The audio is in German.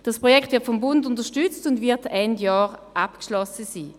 Das Projekt wird vom Bund unterstützt und wird Ende Jahr abgeschlossen sein.